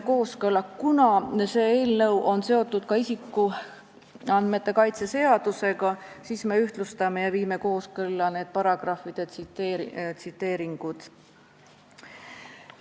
Kuna see eelnõu on seotud isikuandmete kaitse seadusega, siis me ühtlustame ning viime omavahel kooskõlla paragrahve ja tsiteeringuid.